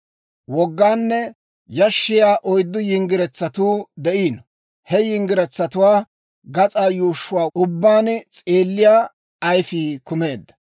Wogganne yashshiyaa oyddu yinggiretsatuu de'iino; he yinggiretsatuwaa gas'aa yuushshuwaa ubbaan s'eelliyaa ayifii kumeedda.